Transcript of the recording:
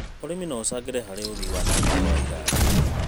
ũrĩmi no ũcangĩre harĩ ũthii wa na mbere wa iganda.